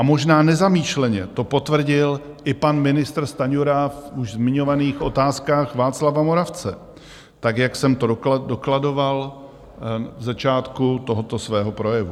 A možná nezamýšleně to potvrdil i pan ministr Stanjura v už zmiňovaných Otázkách Václava Moravce, tak jak jsem to dokladoval v začátku tohoto svého projevu.